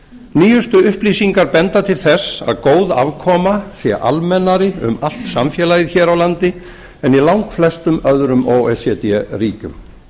nýjustu upplýsingar benda til þess að góð afkoma sé almennari um allt samfélagið hér á landi en í langflestum öðrum o e c d ríkjum